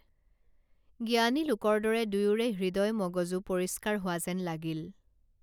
জ্ঞানীলোকৰ দৰে দুয়োৰে হৃদয় মগজু পৰিস্কাৰ হোৱা যেন লাগিল